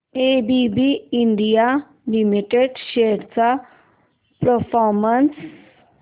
ABB India limited shares चा performance